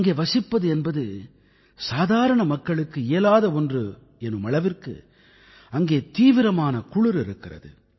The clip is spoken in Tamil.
அங்கே வசிப்பது என்பது சாதாரண மக்களுக்கு இயலாத ஒன்று எனும் அளவிற்கு அங்கே தீவிரமான குளிர் இருக்கிறது